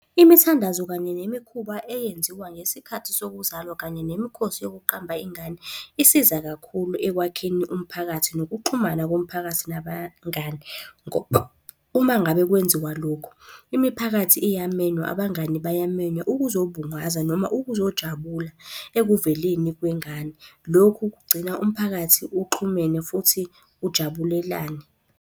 Imithandazo kanye nemikhuba eyenziwa ngesikhathi sokuzalwa kanye nemikhosi yokuqamba ingane, isiza kakhulu ekwakheni umphakathi nokuxhumana komphakathi nabangani, ngoba uma ngabe kwenziwa lokho, imiphakathi iyamenywa, abangani bayamenywa ukuzobungaza noma ukuzojabula ekuveleni kwengane. Lokhu kugcina umphakathi uxhumene futhi ujabulelane.